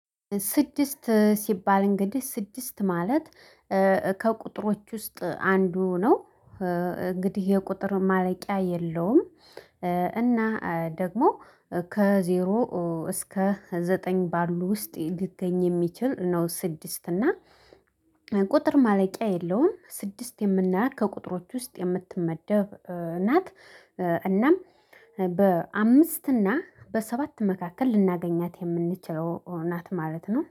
ስድስት ሲባል እንግዲህ ስድስት ማለት እ ከቁጥሮች ውስጥ አንዱ ነው። እ እንግዲህ የቁጥር ማለቂያ የለውም። እ እና ደግሞ ከዜሮ እ እስከ ዘጠኝ ባሉ ውስጥ ሊገኝ የሚችል ነው። ስድስት እና ቁጥር ማለቂያ የለውም። ስድስት የምናያት ከቁጥሮች ውስጥ የምትመደብ ናት። እናም በአምስት እና በሰባት መካከል ልናገኛት የምንችለው ናት ማለት ነው